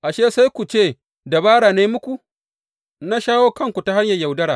Ashe, sai ku ce dabara na yi muku, na shawo kanku ta hanyar yaudara!